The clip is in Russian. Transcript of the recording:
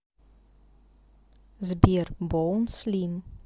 сбер боун слим